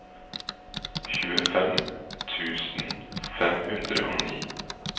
tjuefem tusen fem hundre og ni